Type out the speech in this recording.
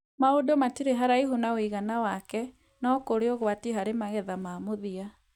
Maũndũ matirĩ haraihu na ũigana wake, no kũrĩ ũgwati harĩ magetha ma mũthia.